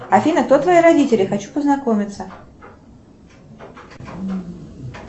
афина кто твои родители хочу познакомиться